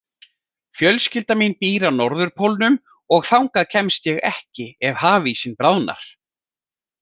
Fjölskylda mín býr á Norðurpólnum og þangað kemst ég ekki ef hafísinn bráðnar.